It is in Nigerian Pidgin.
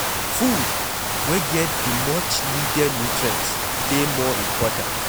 Food wey get the much needed nutrients dey more important